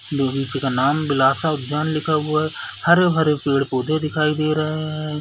का नाम बिलासा उद्यान लिखा हुआ है हरे भरे पेड़ पौधे दिखाई दे रहे है।